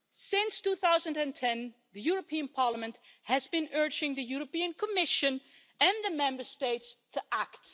Since 2010, the European Parliament has been urging the Commission and the Member States to act.